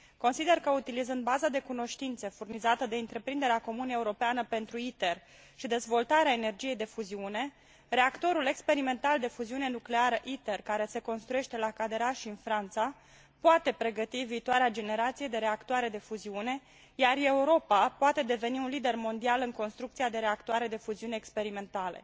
Consider că utilizând baza de cunoștințe furnizată de Întreprinderea comună europeană pentru ITER și dezvoltarea energiei de fuziune, reactorul experimental de fuziune nucleară ITER, care se construiește la Cadarache în Franța, poate pregăti viitoarea generație de reactoare de fuziune, iar Europa poate deveni un lider mondial în construcția de reactoare de fuziune experimentale.